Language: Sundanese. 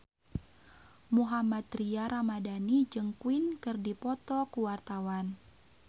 Mohammad Tria Ramadhani jeung Queen keur dipoto ku wartawan